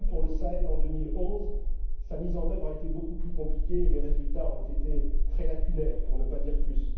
On l'avait pour le Sahel, en 2011, mais sa mise en œuvre a été beaucoup plus compliquée et les résultats ont été très lacunaires, pour ne pas dire